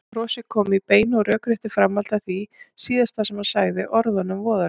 Brosið kom í beinu og rökréttu framhaldi af því síðasta sem hann sagði, orðunum voðalegu.